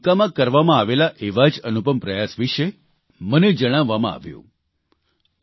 ઝારખંડના દુમકામાં કરવામાં આવેલા એવા જ અનુપમ પ્રયાસ વિશે મને જણાવવામાં આવ્યું